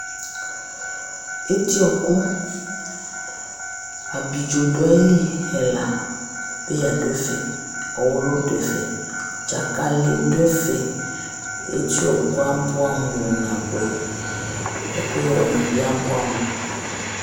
eti ɔɔkʊ, ablidzo ɛla dʊ ayili, peya, ɔwʊlʊ, dzakalɩ dʊ ayili, eti ɔɔkʊ yɛ abʊɛ amʊ kpanabʊɛ, ɛkʊyɛ wanɩbɩ abʊɛ amʊ